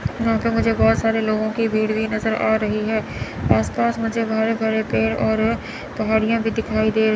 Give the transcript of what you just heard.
यहां पे मुझे बहुत सारे लोगों की भीड़ भी नजर आ रही है आसपास मुझे बड़े बड़े पेड़ और पहाड़ियां भी दिखाई दे--